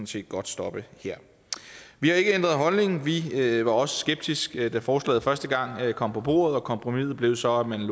set godt stoppe her vi har ikke ændret holdning vi var også skeptiske da forslaget første gang kom på bordet og kompromiset blev så at man